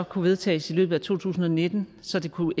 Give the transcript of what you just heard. kunne vedtages i løbet af to tusind og nitten så det kunne